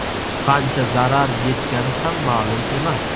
Qancha zarar yetgani ham ma’lum emas.